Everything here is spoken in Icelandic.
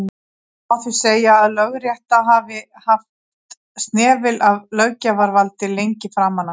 má því segja að lögrétta hafi haft snefil af löggjafarvaldi lengi framan af